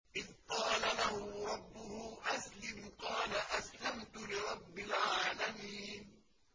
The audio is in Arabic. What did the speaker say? إِذْ قَالَ لَهُ رَبُّهُ أَسْلِمْ ۖ قَالَ أَسْلَمْتُ لِرَبِّ الْعَالَمِينَ